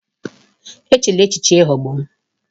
Echela echiche ịghọgbu m!